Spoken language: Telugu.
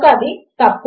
అని అంటే ఏమి అవుతుంది